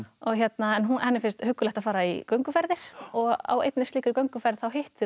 en henni finnst huggulegt að fara í gönguferðir og á einni slíkri gönguferð hittir hún